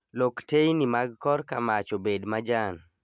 Lok teyni mag kor kamach obed majan